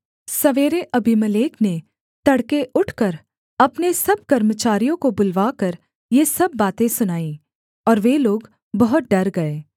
सवेरे अबीमेलेक ने तड़के उठकर अपने सब कर्मचारियों को बुलवाकर ये सब बातें सुनाईं और वे लोग बहुत डर गए